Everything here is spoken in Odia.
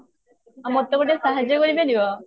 ଆଉ ମୋତେ ଗୋଟେ ସାହାର୍ଯ୍ୟ କରିପାରିବ?